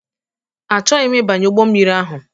Achọghị m ịbanye ụgbọ mmiri ahụ.